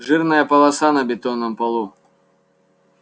жирная полоса на бетонном полу